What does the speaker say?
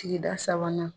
Sigida sabanan